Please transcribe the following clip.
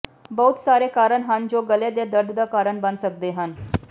ਬਹੁਤ ਸਾਰੇ ਕਾਰਨ ਹਨ ਜੋ ਗਲ਼ੇ ਦੇ ਦਰਦ ਦਾ ਕਾਰਨ ਬਣ ਸਕਦੇ ਹਨ